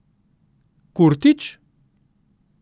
Kurtić?